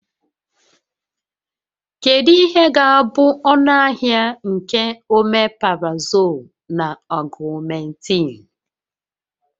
Kedu ihe ga-abụ ọnụahịa nke Omeprazoolu na Ọgụmentịịnụ?